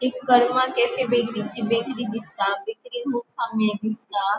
एक बेकरी दिसता बेकरीन खूब खांमे दिसता.